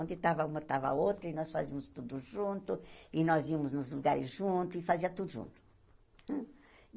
Onde estava uma, estava a outra, e nós fazíamos tudo junto, e nós íamos nos lugares juntos, e fazíamos tudo junto.